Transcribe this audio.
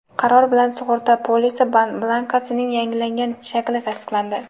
qaror bilan sug‘urta polisi blankasining yangilangan shakli tasdiqlandi.